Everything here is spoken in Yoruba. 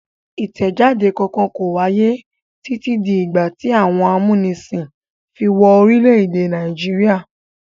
Ìtẹjáde kankan kò wáyé títí di ìgbà tí àwọn amúnisìn fi wọ orílẹ̀-èdè Nàìjíríà.